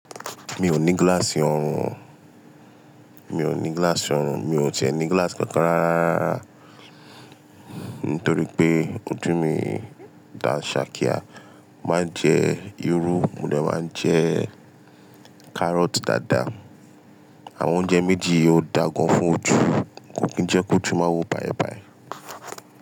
Mi ò ní gíláàsì ọrùn, mi ò ní gíláàsì ọrùn, mi ò tẹ́ẹ̀ ní gíláàsì kankan rárá rárá Nítorí pé ojú mi dà ṣàkíyà. Mó máa ń jẹ́ irú, mo dè máa ń jẹ́ kárọ́tì dáadáa. Àwọn oúnjẹ méjì yí ó dáa gan fún ojú. Kò kí ń jẹ́ kó jù má wo báì bàí.